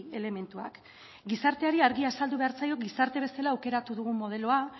elementuak gizarteari argi azaldu behar zaio gizarte bezala aukeratu dugun modeloa